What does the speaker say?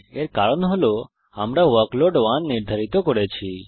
এর কারণ হল আমরা ওয়ার্কলোড 1 নির্ধারিত করেছি